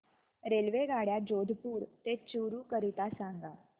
रेल्वेगाड्या जोधपुर ते चूरू करीता सांगा